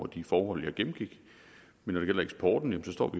de forhold jeg gennemgik men når det gælder eksporten står